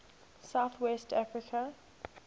south west africa